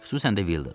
Xüsusən də Vildad.